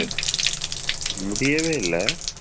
முடியவே இல்ல.